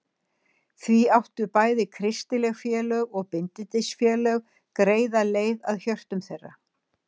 Því áttu bæði kristileg félög og bindindisfélög greiða leið að hjörtum þeirra.